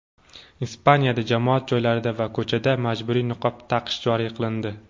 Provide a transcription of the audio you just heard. Ispaniyada jamoat joylarida va ko‘chada majburiy niqob taqish joriy qilindi.